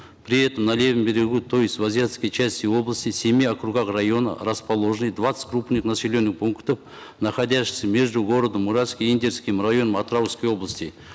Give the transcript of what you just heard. при этом на левом берегу то есть в азиатской части области в семи округах района расположены двадцать крупных населенных пунктов находящихся между городом уральск и индерским районом атырауской области